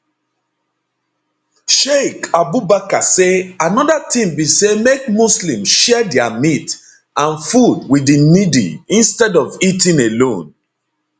sheik abubakar say anoda tin be say make muslims share dia meat and food wit di needy instead of eating alone